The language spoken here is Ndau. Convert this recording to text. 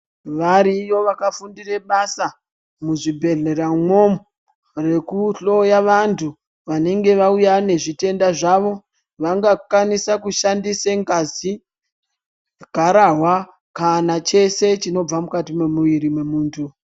Variyo vakafundire basa muzvibhedhlera mwo rekuhloya vantu vanenge vauya nezvitenda zvavo. Vangakwanise kushandise ngazi, garahwa kana chese chinobva mukati memuviri memuntu.